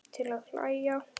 Til að hlæja.